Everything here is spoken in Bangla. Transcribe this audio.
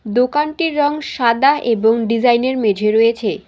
দোকানটির রঙ সাদা এবং ডিজাইনের মেঝে রয়েছে।